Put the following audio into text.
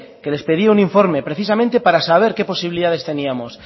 que les pedía un informe precisamente para sabe qué posibilidades teníamos